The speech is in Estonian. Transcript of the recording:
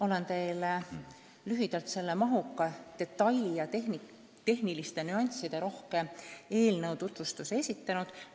Olen teile lühidalt selle mahuka, detailide- ja tehniliste nüansside rohke eelnõu tutvustuse esitanud.